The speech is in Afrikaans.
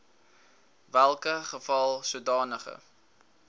welke geval sodanige